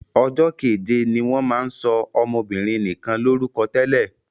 Ọjọ́ keje ni wọ́n máa ń sọ ọmọbinrin nikan lórúkọ tẹ́lẹ̀.